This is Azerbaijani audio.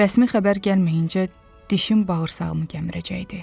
Rəsmi xəbər gəlməyincə dişim bağırsağımı gəmirəcəkdi.